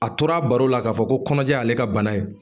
A tora baro la k'a fɔ ko kɔɲɔj' ale ka bana ye